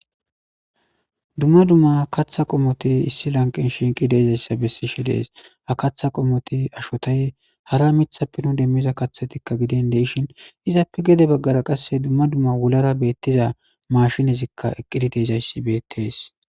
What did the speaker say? Dumma dumma katha qomoti issi lanqin shinqi deezayssa bessi shi dees ha katha qomoti ashotay hara mithappe nu demmiza kathetikka gidin deishin izappe gede baggara qasse dumma dumma wulara beettiza mashinezikka eqqidi deezayssi bettees.